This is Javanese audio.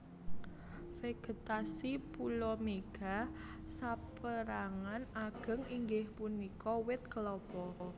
Vegetasi pulo Mega saperangan ageng inggih punika wit Klapa